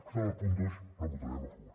per tant el punt dos no el votarem a favor